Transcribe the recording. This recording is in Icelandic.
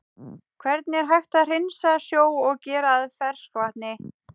Hvernig er hægt að hreinsa sjó og gera að ferskvatni?